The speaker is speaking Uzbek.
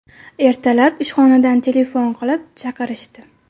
Ertalab ishxonadan telefon qilib, chaqirishdi.